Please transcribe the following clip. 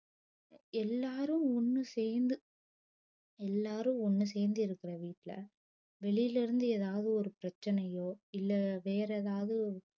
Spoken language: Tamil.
எல்லாரும் ஒன்னு சேந்து எல்லாரும் ஒன்னு சேந்து இருக்குற வீட்ல வெளில இருந்து ஏதாவுது ஒரு பிரச்சனையோ இல்ல வேற ஏதாவுது